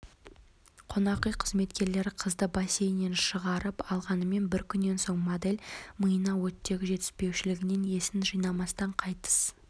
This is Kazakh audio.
қонақүй қызметкерлері қызды бассейннен шығарып алғанымен бір күннен соң модель миына оттегі жетіспеушілігінен есін жимастан қайтыс